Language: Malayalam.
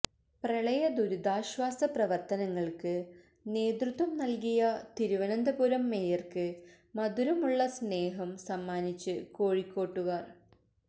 പ്രളയദുരിതാശ്വാസ പ്രവർത്തനങ്ങൾക്ക് നേതൃത്വം നൽകിയ തിരുവനന്തപുരം മേയർക്ക് മധുരമുള്ള സ്നേഹം സമ്മാനിച്ച് കോഴിക്കോട്ടുകാർ